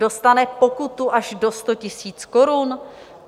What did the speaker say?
Dostane pokutu až do 100 000 korun?